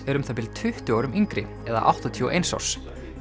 er um það bil tuttugu árum yngri eða áttatíu og eins árs